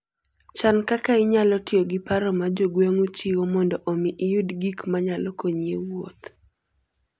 Chan kaka inyalo tiyo gi paro ma jo gweng'u chiwo mondo omi iyud gik manyalo konyi e wuoth.